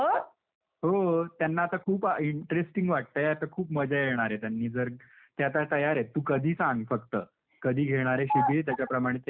हो. त्यांना आता खूप इंट्रेस्टिंग वाटतंय. आता खूप मजा येणारे त्यांनी जर ते आता तयार आहेत. तू कधी सांग. फक्त. कधी घेणारे शिबिर त्याच्याप्रमाणे ते येतील.